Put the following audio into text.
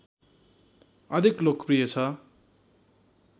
अधिक लोकप्रिय छ